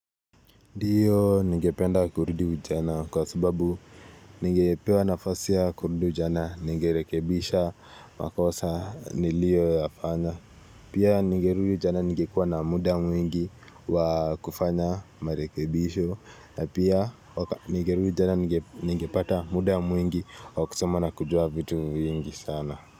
Ndiyo ningependa kurudi ujana kwa sababu ningepewa nafasi ya kurudi ujana ningerekebisha makosa nilioyafanya pia ningerudi ujana nimgekuwa na muda mwingi wa kufanya marekebisho na pia ningerudi tena ningepata muda mwingi wa kusoma na kujua vitu vingi sana.